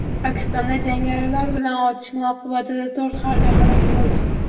Pokistonda jangarilar bilan otishma oqibatida to‘rt harbiy halok bo‘ldi.